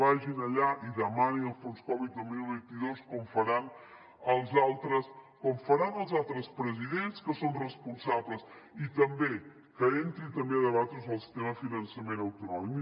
vagin allà i demanin el fons covid dos mil vint dos com faran els altres presidents que són responsables i també que entri també a debatre el sistema de finançament autonòmic